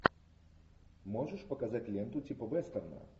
можешь показать ленту типа вестерна